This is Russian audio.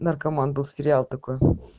наркоман был сериал такой